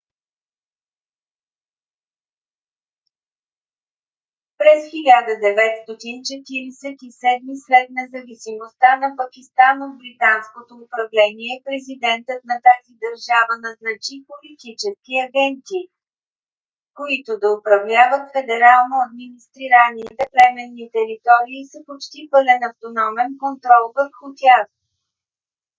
през 1947 г. след независимостта на пакистан от британското управление президентът на тази държава назначи политически агенти които да управляват федерално администрираните племенни територии с почти пълен автономен контрол върху тях